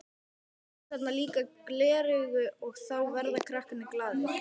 Svo eru þarna líka gleraugu og þá verða krakkarnir glaðir.